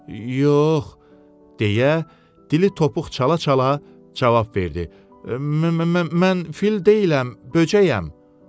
Yox, deyə dili topuq çala-çala cavab verdi: "mən fil deyiləm, böcəyəm".